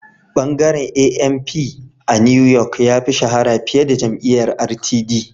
Bangaren ANP a New York ya fi shahara fiye da jam'iyyar RTD